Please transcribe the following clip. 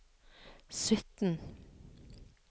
sytten